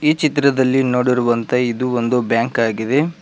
ಈ ಚಿತ್ರದಲ್ಲಿ ನೋಡಿರುವಂತೆ ಇದು ಒಂದು ಬ್ಯಾಂಕ್ ಆಗಿದೆ.